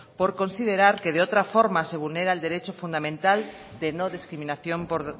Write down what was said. por considerar que otra forma se vulnera el derecho fundamental de no discriminación por